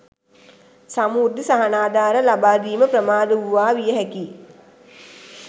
සමෘද්ධි සහනාධාර ලබා දීම ප්‍රමාද වූවා විය හැකියි